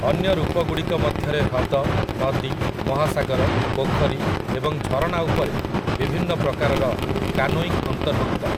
ଅନ୍ୟ ରୂପଗୁଡ଼ିକ ମଧ୍ୟରେ ହ୍ରଦ, ନଦୀ, ମହାସାଗର, ପୋଖରୀ ଏବଂ ଝରଣାଉପରେ ବିଭିନ୍ନ ପ୍ରକାରର କାନୋଇଙ୍ଗ୍ ଅନ୍ତର୍ଭୁକ୍ତ ।